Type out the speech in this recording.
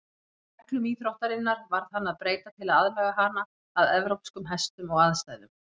Reglum íþróttarinnar varð að breyta til að aðlaga hana að evrópskum hestum og aðstæðum.